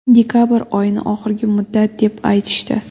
Dekabr oyini oxirgi muddat, deb aytishdi.